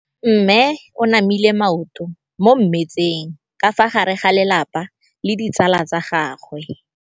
Mme o namile maoto mo mmetseng ka fa gare ga lelapa le ditsala tsa gagwe.